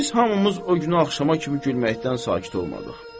Biz hamımız o günü axşama kimi gülməkdən sakit olmadıq.